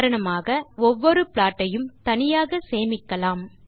உதாரணமாக நாம் ஒவ்வொரு ப்ளாட் ஐயும் தனியாக சேமிக்கலாம்